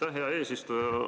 Aitäh, hea eesistuja!